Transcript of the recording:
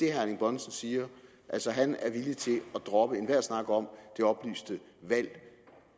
erling bonnesen siger altså at han er villig til at droppe enhver snak om det oplyste valg